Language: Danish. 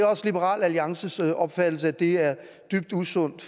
også liberal alliances opfattelse at det er dybt usundt